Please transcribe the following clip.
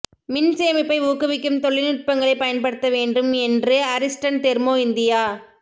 மின் சேமிப்பை ஊக்குவிக்கும் தொழில்நுட்பங்களைப் பயன்படுத்த வேண்டும் என்று அரிஸ்டன் தெர்மோ இந்தியா